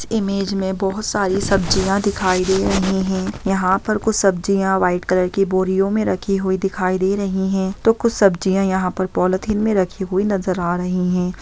Image में बहुत सारी सब्जियां दिखाई दे रही है यहां पर कुछ सब्जियों व्हाइट कलर की बोरियों में रखी हुई दिखाई दे रही है कुछ सब्जियों यहां पॉलीथिन में रखी नजर आ रही है।